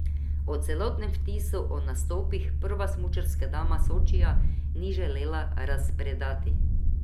O celotnem vtisu o nastopih prva smučarska dama Sočija ni želela razpredati.